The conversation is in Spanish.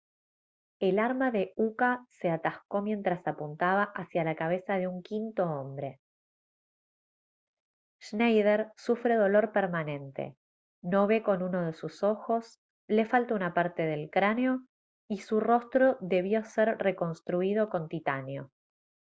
el arma de uka se atascó mientras apuntaba hacia la cabeza de un quinto hombre schneider sufre dolor permanente no ve con uno de sus ojos le falta una parte del cráneo y su rostro debió ser reconstruido con titanio